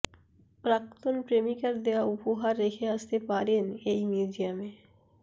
প্রাক্তন প্রেমিকার দেওয়া উপহার রেখে আসতে পারেন এই মিউজিয়ামে